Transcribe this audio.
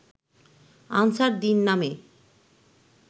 answer Din নামে